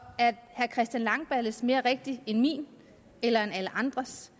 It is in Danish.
herre christian langballes mere rigtig end min eller alle andres